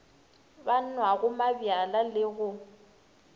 ba nwago mabjala le go